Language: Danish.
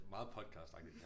Meget podcastagtigt det her